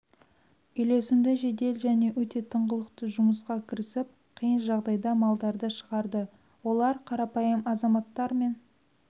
үйлесімді жедел және өте тыңғылықты жұмысқа кірісіп қиын жағдайда малдарды шығарды олар қарапайым азаматтар мен